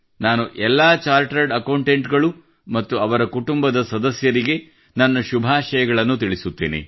ನಾನು ಎಲ್ಲಾ chartered accountant ಗಳು ಅವರ ಕುಟುಂಬದ ಸದಸ್ಯರಿಗೆ ನನ್ನ ಶುಭಾಶಯಗಳನ್ನು ತಿಳಿಸುತ್ತೇನೆ